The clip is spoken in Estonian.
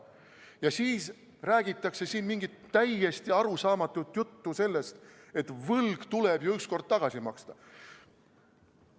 Ja siis räägitakse siin mingit täiesti arusaamatut juttu sellest, et võlg tuleb ju ükskord tagasi maksta.